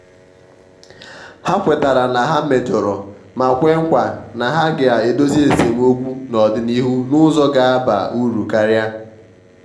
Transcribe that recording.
ha kwetara na ha mejọrọ ma kwe nkwa na ha ga-edozi esemokwu n'ọdịnịhu n'ụzọ ga-aba uru karia.